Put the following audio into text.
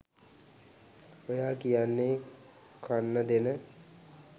ඔයා කියන්නේ කන්න දෙන